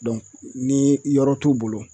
ni i yɔrɔ t'u bolo